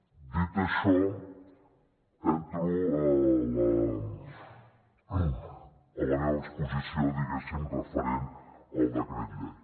dit això entro a la meva exposició diguéssim referent al decret llei